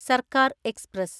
സർക്കാർ എക്സ്പ്രസ്